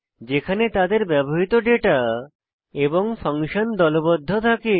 যেখানে তাদের ব্যবহৃত ডেটা এবং ফাংশন দলবদ্ধ থাকে